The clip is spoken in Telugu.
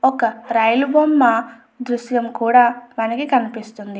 ఒక రైలు బొమ్మ దృశ్యం కూడా మనకి కనిపిస్తుంది.